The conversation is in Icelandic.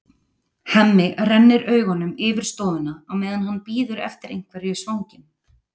Hemmi rennir augunum yfir stofuna á meðan hann bíður eftir einhverju í svanginn.